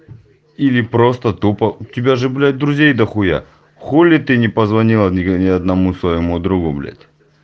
или просто тупо у тебя же блять друзей дохуя хули ты не позвонила ни одному своему другу блять